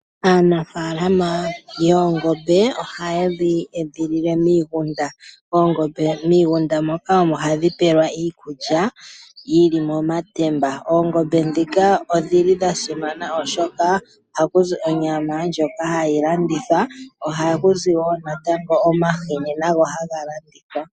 Aanafaalama yengombe ohaye dhi edhilile miigunda mo miigunda omo hadhi pelwa iikulya yili momatemba, oongombe dhika odhili dha simana oshoka ohadhizi onyama ndjoka hayi ladithwa dho ohadhi gandja woo natango omahini ngoka haga landithwa.